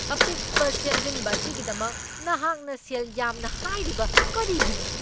ꯑꯄꯤꯛꯄ ꯁꯦꯝꯖꯤꯟꯕ ꯑꯁꯤꯒꯤꯗꯃꯛ ꯅꯍꯥꯛꯅ ꯁꯦꯜ ꯌꯥꯝꯅ ꯍꯥꯏꯔꯤꯕ ꯀꯔꯤꯒꯤꯅꯣ?